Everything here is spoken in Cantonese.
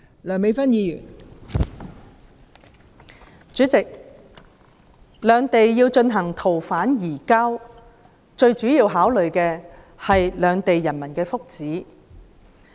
代理主席，兩地要進行逃犯移交，最主要的考慮是兩地人民的福祉。